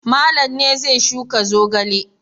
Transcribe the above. Malam ne zai shuka zogale.